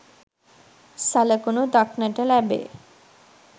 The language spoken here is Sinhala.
සලකුණු දක්නට ලැබේ.